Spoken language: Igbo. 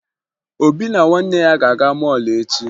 Obi na nwanne ya ga-aga mọọlụ echi